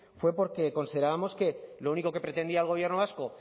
fue porque considerábamos que lo único que pretendía el gobierno vasco